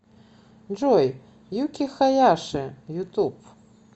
джой юки хаяши ютуб